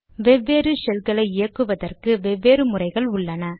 வெவ்வேறு ஷெல்களை இயக்குவதற்கு வெவ்வேறு முறைகள் உள்ளன